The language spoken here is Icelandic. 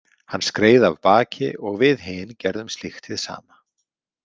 Hann skreið af baki og við hin gerðum slíkt hið sama.